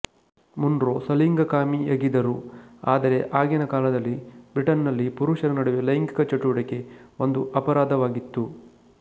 Munro ಸಲಿಂಗಕಾಮಿಯಗಿದರು ಆದರೆ ಆಗಿನ ಕಾಲದಲ್ಲಿ ಬ್ರಿಟನ್ನಲ್ಲಿ ಪುರುಷರ ನಡುವೆ ಲೈಂಗಿಕ ಚಟುವಟಿಕೆ ಒಂದು ಅಪರಾಧವಾಗಿತ್ತು